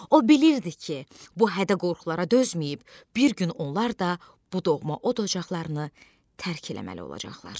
O bilirdi ki, bu hədə-qorxulara dözməyib bir gün onlar da bu doğma od-ocaqlarını tərk eləməli olacaqlar.